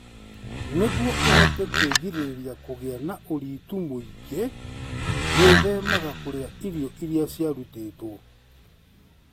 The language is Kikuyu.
Nĩguo ũhote kwĩgirĩrĩria kũgĩa na ũritũ mũingĩ, gwĩthemaga kũrĩa irio iria ciarutĩtwo.